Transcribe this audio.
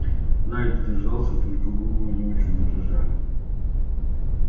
найд сдержался только губы у него чуть дрожали